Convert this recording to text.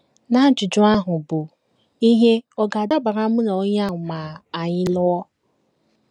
n’ajụjụ ahụ bụ́, “ Ihe ọ̀ ga - adabara mụ na onye a ma anyị lụọ? ”